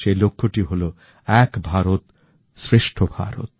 সেই লক্ষ্যটি হলো এক ভারত শ্রেষ্ঠ ভারত